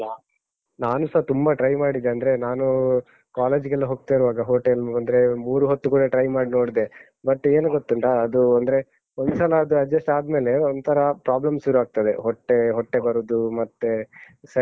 ನಾನುಸ ತುಂಬ try ಮಾಡಿದೆ, ಅಂದ್ರೆ ನಾನು college ಗೆಲ್ಲ ಹೋಗ್ತಾ ಇರುವಾಗ hotel ಅಂದ್ರೆ ಮೂರೂ ಹೊತ್ತು ಕೂಡ try ಮಾಡ್ ನೋಡ್ದೆ. but ಏನು ಗೊತ್ತುಂಟಾ, ಅದು ಅಂದ್ರೆ ಒಂದ್ಸಲ ಅದು adjust ಆದ್ಮೇಲೆ ಒಂಥರಾ problem ಸುರು ಆಗ್ತದೆ. ಹೊಟ್ಟೆ, ಹೊಟ್ಟೆ ಬರುದು ಮತ್ತೆ ಸರಿ ಜೀರ್ಣ ಆಗುದಿಲ್ಲ.